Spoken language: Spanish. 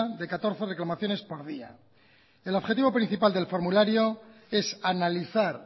de catorce reclamaciones por día el objetivo principal del formulario es analizar